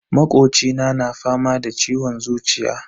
Makocina na fama da ciwon zuciya.